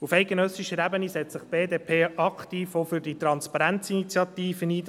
Auf eidgenössischer Ebene setzt sich die BDP aktiv für die «Transparenz-Initiative» ein.